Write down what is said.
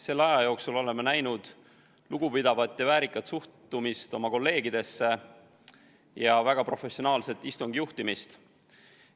Selle aja jooksul oleme näinud lugupidavat ja väärikat suhtumist oma kolleegidesse ja väga professionaalset istungi juhtimist.